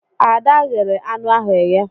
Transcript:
Ada ghere anụ ahụ eghe.